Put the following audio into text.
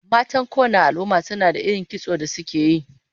Matan kowanne al'umma suna da irin kitson da suke yi